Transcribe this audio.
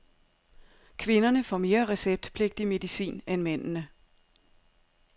Kvinderne får mere receptpligtig medicin end mændene.